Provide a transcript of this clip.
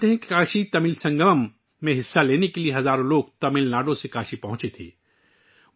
آپ جانتے ہیں کہ کاشی تمل سنگمم میں شرکت کے لیے تمل ناڈو سے ہزاروں لوگ کاشی پہنچے تھے